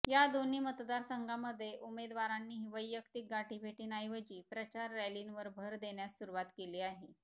या दोन्ही मतदारसंघामध्ये उमेदवारांनीही वैयक्तिक गाठीभेटींऐवजी प्रचार रॅलींवर भर देण्यास सुरुवात केली आहे